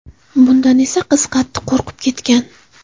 Bundan esa qiz qattiq qo‘rqib ketgan.